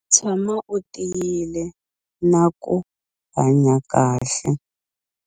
Tshama u tiyile na ku hanya kahle.